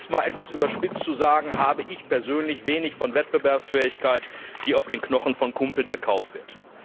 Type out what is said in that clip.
Um es etwas überspitzt zu sagen Ich halte persönlich wenig von Wettbewerbsfähigkeit, die auf den Knochen der Kumpel erkauft wird.